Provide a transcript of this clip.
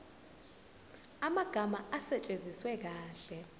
amagama asetshenziswe kahle